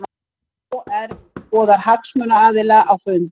OR boðar hagsmunaaðila á fund